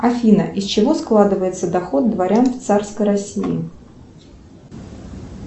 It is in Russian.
афина из чего складывается доход дворян в царской россии